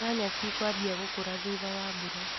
Nyanya cikwambia gũkũra thutha wa mbura.